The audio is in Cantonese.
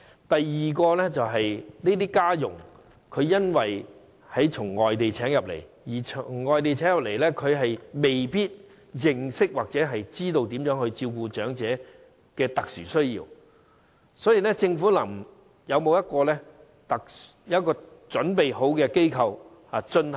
第二，由於這些家傭從外地聘請，所以他們未必認識或知道應如何照顧長者的特殊需要，政府有否準備設立考核機構呢？